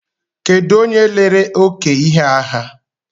Kedụ onye lere oke ihe a ha?